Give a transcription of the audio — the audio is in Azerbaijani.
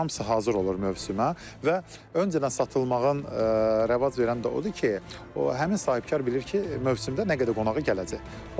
Hamısı hazır olur mövsümə və öncədən satılmağın rəvac verən də odur ki, o həmin sahibkar bilir ki, mövsümdə nə qədər qonağı gələcək.